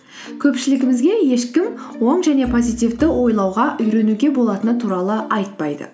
көпшілімізге ешкім оң және позитивті ойлауға үйренуге болатыны туралы айтпайды